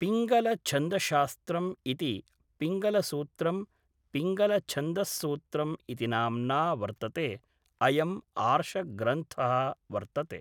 पिङ्गलछन्दश्शास्त्रम् इति पिङ्गलसूत्रं पिङ्गलछन्दस्सूत्रम् इति नाम्ना वर्तते अयम्‌ आर्षग्रन्थः वर्तते